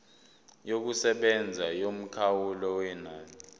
yokusebenza yomkhawulo wenani